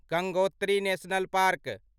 Gangotri national park